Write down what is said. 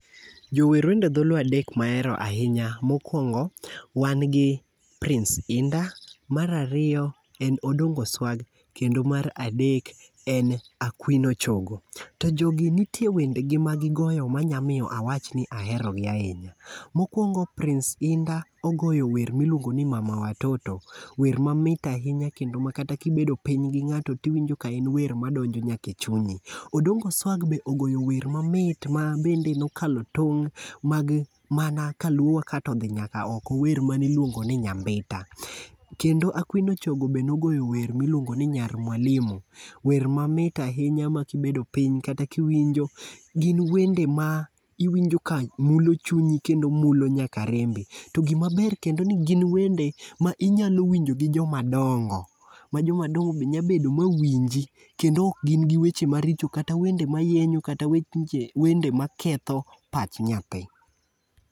Jower wende dholuo adek ma ahero ahinya mokuongo wan gi Prince indah, mar ariyo en Odongo Swag mar adek en Akwino Chogo. To jogi nitie wende gi magigoyo ma nyalo miyo awach ni aherogi ahinya. Mokuongo Prince indah miluongoni mama watoto wer mamit ahinya kendo ma kata kibedo piny gi ng'ato to iwinjo ka en wer madonjo nyaka ei chunyi, Odongo Swag be ogolo wer mamit mabende ne okalo tong' mana kaluwo ma kaeto odhi nyaka oko wer ma ne ilongo ni nyambita, Kendo Akwino Chogo bende ne ogolo wer miluongo ni nyar mwalimu, Wer mamit ahinya makibedo piny kata kiwinjogin wende maiwinjoka mulo chunyinkendommulonyaka rembi to gima ber ni to gin wende ma inyalo winjo gi joma dongo ma joma dongo be nyalo bedo ma winji to kendo ok gin gi weche maricho kata weche mayenyo, kata wende maketho pach nyathi.